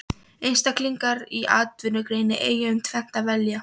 Einstaklingar í atvinnugreininni eiga um tvennt að velja.